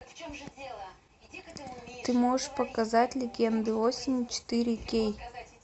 ты можешь показать легенды осени четыре кей